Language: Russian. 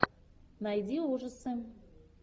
найди ужасы